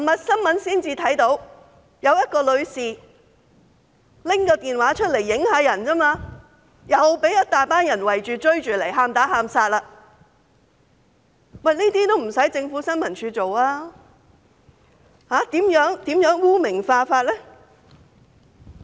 昨天才看到一位女士用手提電話拍攝，就被一大群人追着"喊打喊殺"。這些不用新聞處做，如何"污名化"呢？